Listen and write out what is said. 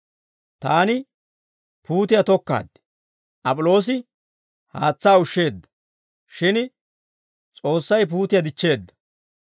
Taani puutiyaa tokkaad; Ap'iloosi haatsaa ushsheedda; shin S'oossay puutiyaa dichcheedda.